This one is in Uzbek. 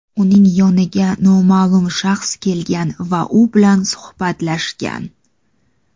uning yoniga noma’lum shaxs kelgan va u bilan suhbatlashgan.